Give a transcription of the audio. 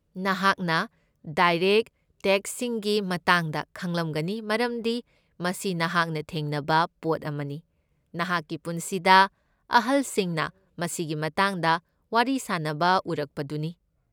ꯅꯍꯥꯛꯅ ꯗꯥꯏꯔꯦꯛꯠ ꯇꯦꯛꯁꯁꯤꯡꯒꯤ ꯃꯇꯥꯡꯗ ꯈꯪꯂꯝꯒꯅꯤ ꯃꯔꯝꯗꯤ ꯃꯁꯤ ꯅꯍꯥꯛꯅ ꯊꯦꯡꯅꯕ ꯄꯣꯠ ꯑꯃꯅꯤ, ꯅꯍꯥꯛꯀꯤ ꯄꯨꯟꯁꯤꯗ ꯑꯍꯜꯁꯤꯡꯅ ꯃꯁꯤꯒꯤ ꯃꯇꯥꯡꯗ ꯋꯥꯔꯤ ꯁꯥꯟꯅꯕ ꯎꯔꯛꯄꯗꯨꯅꯤ꯫